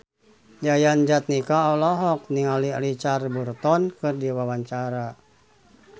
Yayan Jatnika olohok ningali Richard Burton keur diwawancara